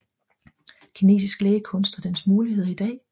Kinesisk lægekunst og dens muligheder i dag